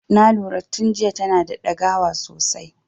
Na lura tun jiya tana da dagawa sosai.